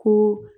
Ko